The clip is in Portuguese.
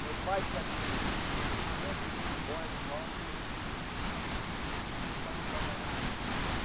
Meu pai, de certo tempo, ele foi embora de nós e e... Aí ficamos só com a mamãe.